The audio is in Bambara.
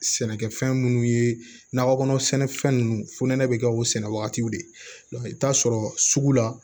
Sɛnɛkɛfɛn minnu ye nakɔ kɔnɔ sɛnɛfɛn ninnu fonɛnɛ bɛ kɛ o sɛnɛ wagatiw de i bɛ taa sɔrɔ sugu la